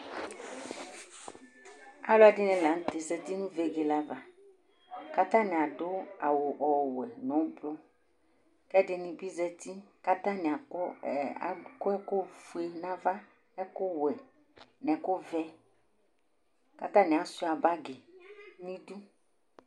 alʊɛdɩnɩ lanʊtɛ zati nʊ vegele ava, kʊ atanɩ adʊ awu ɔwɛ, nʊ avavlitsɛ, kʊ alʊɛdɩnɩ bɩ zati kʊ atanɩ akɔ ɛkʊ fue n'ava, ɛkʊ wɛ nʊ ɛkʊ vɛ, kʊ atanɩ ama akpo n'idu